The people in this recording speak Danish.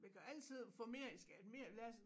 Vi kan jo altid få mere i skat mere lad os